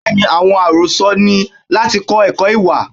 Bẹẹni, àwọn arosọ ni láti kọ ẹkọ ìwà.